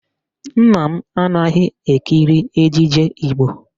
Nna m anaghị ekiri ejije Igbo